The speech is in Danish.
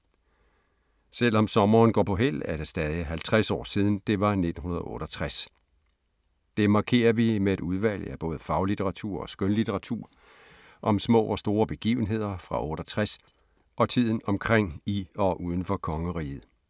Selv om sommeren går på hæld er det stadig 50 år siden, det var 1968. Det markerer vi med et udvalg af både faglitteratur og skønlitteratur om små og store begivenheder fra 68 og tiden omkring i og uden for kongeriget.